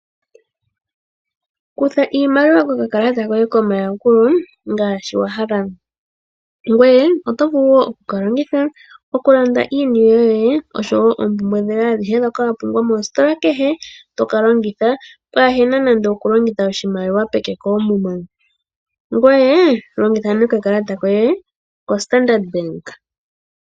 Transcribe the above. Kutha iimaliwa kokakalata koye kombaanga ngaashi wa hala. Oto vulu wo okukalongitha okulanda iipumbiwa yoye mbyoka wa pumbwa moositola kehe, to ka longitha paahe na nando okulongitha oshimaliwa peke koomuma, longitha nduno okakalata koye koStandard Bank.